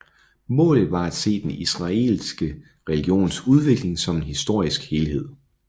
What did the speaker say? Målet var at se den israelitiske religions udvikling som en historisk helhed